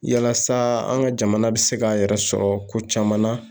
Yalasa, an ka jamana bɛ se k'a yɛrɛ sɔrɔ ko caman na.